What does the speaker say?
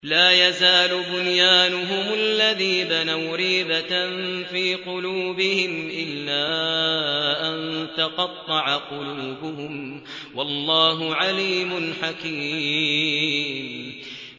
لَا يَزَالُ بُنْيَانُهُمُ الَّذِي بَنَوْا رِيبَةً فِي قُلُوبِهِمْ إِلَّا أَن تَقَطَّعَ قُلُوبُهُمْ ۗ وَاللَّهُ عَلِيمٌ حَكِيمٌ